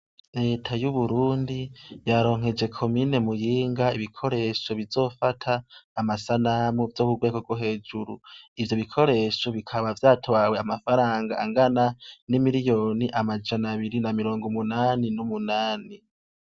Reta y'u Burundi yaronkeje komine Muyinga ibikoresho bizofasha amasanamu vyo ku rwego rwo hejuru, ivyo bikoresho bikaba vyatwaye amafaranga angana n'imiriyoni amajana abiri na mirongo umunani n'umunani.